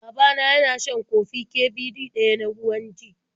Baba na yana shan kofi Ƙ Ɓ Ɗ ɗaya na ruwan g